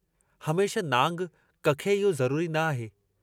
हमेशह नांग कखे इहो ज़रूरी न आहे।